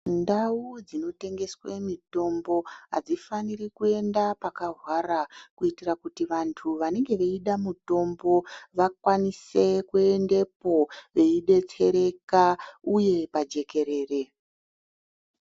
Ndau dzinotengesa mitombo adzifani kuenda pakahwara kuitira kuti vantu vanenge vachida mutombo vakwanise kuendapo veidetsereka uye pajekerere.